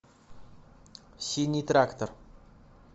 синий трактор